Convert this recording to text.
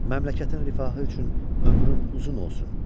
Məmləkətin rifahı üçün ömrün uzun olsun.